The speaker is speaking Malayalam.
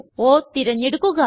O തിരഞ്ഞെടുക്കുക